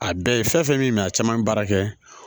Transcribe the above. A dɔ ye fɛn fɛn min a caman ye baara kɛ